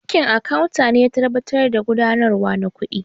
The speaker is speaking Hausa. Aikin Akawu ne ya tabbatar da harƙan gudanarwa na kuɗi